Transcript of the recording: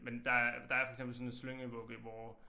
Men der er der er for eksempel sådan en slyngevugge hvor